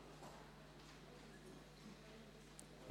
Zustimmung mit folgender Auflage: